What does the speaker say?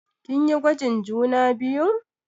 Kin yi gwajin juna biyun?